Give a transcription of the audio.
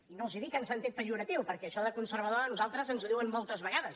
i no els ho dic en sentit pejoratiu perquè això de conservadors a nosaltres ens ho diuen moltes vegades